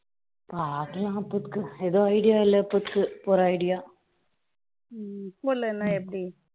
பார்க்கலாம் அப்போதைக்கு எதுவும் idea இல்லை இப்போதைக்கு போற idea போலைனா எப்படி